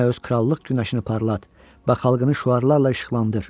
Yenə öz krallıq günəşini parlat və xalqını şüarlarla işıqlandır.